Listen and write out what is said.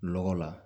Lɔgɔ la